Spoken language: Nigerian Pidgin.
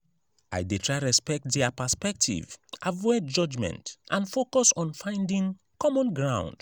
i dey try to respect dia perspective avoid judgment and focus on finding common ground.